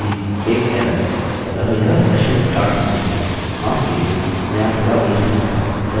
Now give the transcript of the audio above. सही एक एरर ! अतः यह session start होना चाहिए माफ कीजिए मैं यहाँ थोड़ा उलझन में था